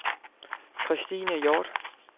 Kristine Hjort